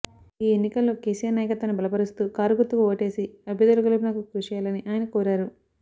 ఈ ఎన్నికల్లో కేసీఆర్ నాయకత్వాన్ని బలపరుస్తూ కారు గుర్తుకు ఓటేసి అభ్యర్థుల గెలుపునకు కృషి చేయాలని ఆయన కోరారు